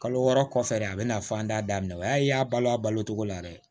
Kalo wɔɔrɔ kɔfɛ de a bɛna fɔ an t'a daminɛ o y'a ye y'a balo a balo cogo la dɛ